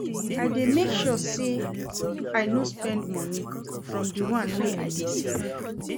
I dey make sure sey I no spend moni from di one wey I dey save.